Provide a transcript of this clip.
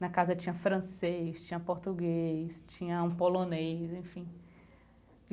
Na casa tinha francês, tinha português, tinha um polonês, enfim.